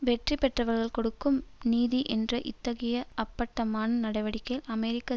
வெற்றி பெற்றவர்கள் கொடுக்கும் நீதி என்ற இத்தகைய அப்பட்டமான நடவடிக்கையில் அமெரிக்க